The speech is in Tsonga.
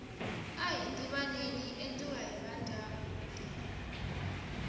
ahi tivaneni yi endliwa hi vandyangu